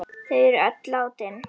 Þau er öll látin.